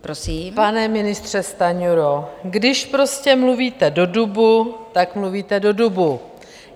Pane ministře Stanjuro, když prostě mluvíte do dubu, tak mluvíte do dubu.